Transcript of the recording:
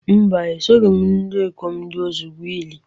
Mba, esoghị m ndị ikom ndị ọzọ gwuo ili